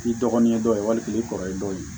K'i dɔgɔnin dɔ ye walima k'i kɔrɔlen dɔw ye